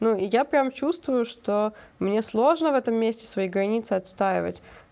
ну и я прям чувствую что мне сложно в этом месте свои границы отстаивать